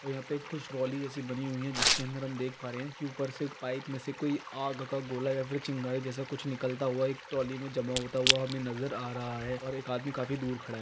और यहाँ पे कुछ ट्रॉली जैसी बनी हुई है जिसके अंदर हम देख पा रहे है की ऊपर से एक पाइप में से कोई आग का गोला या फिर चिंगारी जैसा कुछ निकलता हुआ एक ट्रॉली मे जमा होता हुआ हमें नज़र आ रहा है और एक आदमी दूर खड़ा है।